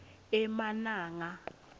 emananga